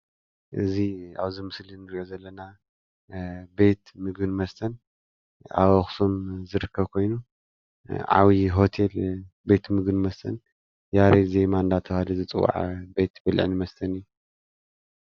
እዚ ኣብዚ ምስሊ እንርእዮ ዘለና ቤት ምግብን መስተን ኣብ ኣክሱም ዝርከብ ኮይኑ ዓብይ ሆቴል ቤት ምግብን መስተን ያሬድ ዜማ እንዳተባሃለ ዝፅዋዕ ቤት ብልዕን መስተን እዩ።